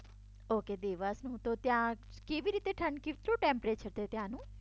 Okay દેવાંશમાં. હું તો ત્યાં. કેવી રીતે ઠંડી છે શું ટેમ્પરેચર છે ત્યાંનું?